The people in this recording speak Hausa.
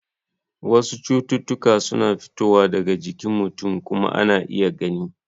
Wasu cututtuka suna fitowa daga jikin mutum kuma ana iya gani.